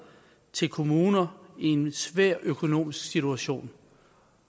til kommuner i en svær økonomisk situation